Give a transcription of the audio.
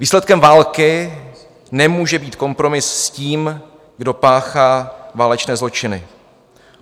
Výsledkem války nemůže být kompromis s tím, kdo páchá válečné zločiny.